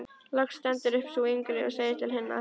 Loks stendur upp sú yngri og segir til hinnar